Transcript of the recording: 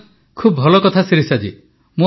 ବାଃ ଖୁବ ଭଲ କଥା ଶିରିଷା ଜୀ